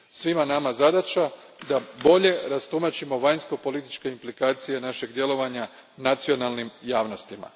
Svima nama zadaća je da bolje rastumačimo vanjsko političke implikacije našeg djelovanja nacionalnim javnostima.